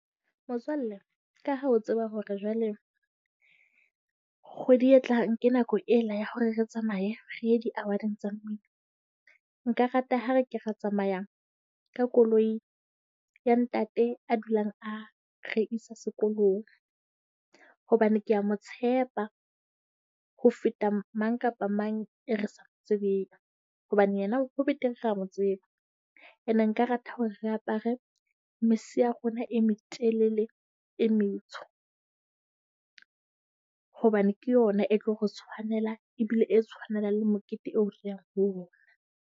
Motswalle, ka ha o tseba hore jwale kgwedi e tlang ke nako ela ya hore re tsamaye re ye di award-ing tsa mmino. Nka rata ha re ke ra tsamaya ka koloi ya ntate a dulang a re isa sekolong. Hobane kea mo tshepa ho feta mang kapa mang e re sa mo tsebeng. Hobane yena ho betere re a mo tseba. Ene nka rata hore re apare mese ya rona e metelele, e metsho, hobane ke yona e tlo re tshwanela ebile e tshwanela le mokete eo re yang ho ona.